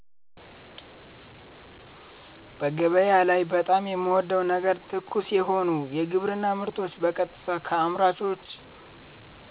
በገበያ ላይ በጣም የምወደው ነገር ትኩስ የሆኑ የግብርና ምርቶችን በቀጥታ ከአምራቾች